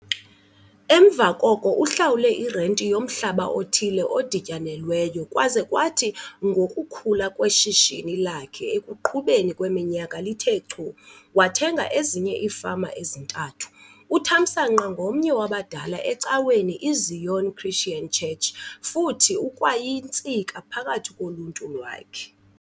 Emva koko uhlawule irenti yomhlaba othile odityanelweyo kwaze kwathi ngokukhula kweshishini lakhe ekuqhubeni kweminyaka lithe chu, wathenga ezinye iifama ezintathu. UThamsanqa ngomnye wabadala ecaweni iZion Christian Church futhi ukwayintsika phakathi koluntu lwakhe.